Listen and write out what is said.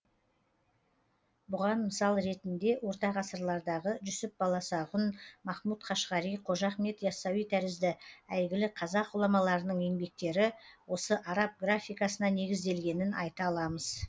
бұған мысал ретінде орта ғасырлардағы жүсіп баласағұн махмут қашғари қожа ахмет ясауи тәрізді әйгілі қазақ ғұламаларының еңбектері осы араб графикасына негізделгенін айта аламыз